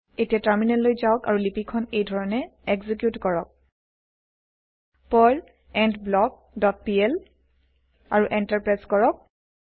এতিয়া টাৰমিনেললৈ যাওক আৰু লিপি খন এইধৰণে এক্সিকিউত কৰক পাৰ্ল এণ্ডব্লক ডট পিএল আৰু এন্টাৰ প্ৰেছ কৰক